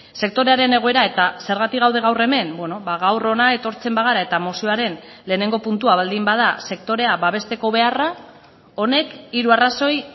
sektorearen egoera eta zergatik gaude gaur hemen gaur hona etortzen bagara eta mozioaren lehenengo puntua baldin bada sektorea babesteko beharra honek hiru arrazoi